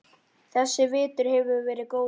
Þessi vetur hefur verið góður.